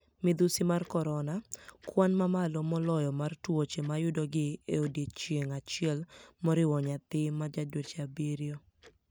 Midhusi mar koronia: Kwani mamalo moloyo mar tuoche mayudogi e odiechienig' achiel, moriwo niyathi ma ja dweche abiriyo.